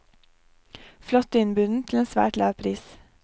Flott innbundet til en svært lav pris.